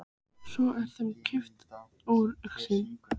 Svo er þeim kippt úr augsýn.